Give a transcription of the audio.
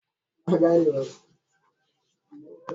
Gabriel yana da sarrafafen tumatur da yawa a pirig na shi.